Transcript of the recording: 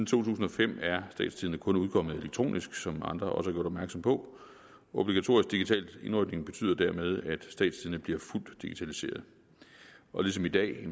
tusind og fem er statstidende kun udkommet elektronisk som andre også opmærksom på obligatorisk digital indrykning betyder dermed at statstidende bliver fuldt digitaliseret ligesom i dag